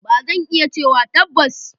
Ba zan iya cewa tabbas.